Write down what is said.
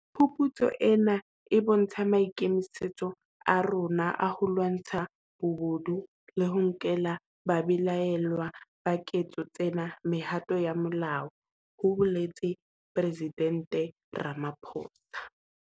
Phuputso ena e bontsha maikemisetso a rona a ho lwantsha bobodu le ho nkela babelaellwa ba ketso tsena mehato ya molao, ho boletse Presidente Ramaphosa.